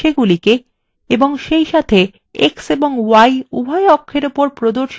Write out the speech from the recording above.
সেইসাথে x এবং y উভয় অক্ষর উপর প্রদর্শিত লেখার font ফরম্যাট করে